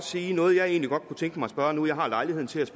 uanset